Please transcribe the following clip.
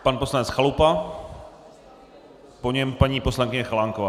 Pan poslanec Chalupa, po něm paní poslankyně Chalánková.